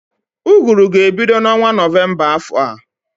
Ụgụrụ ga-ebido n'ọnwa Nọvemba afọ a